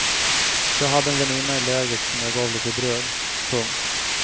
Jag hade en väninna i lägret som jag gav lite bröd. punkt